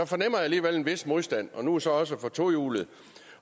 fornemmer jeg alligevel en vis modstand nu så også for tohjulede